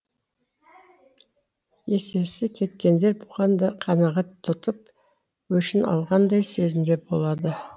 есесі кеткендер бұған да қанағат тұтып өшін алғандай сезімде болады